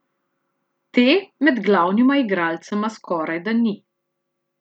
Te med glavnima igralcema skorajda ni.